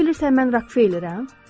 Elə bilirsən mən Rockefellerəm?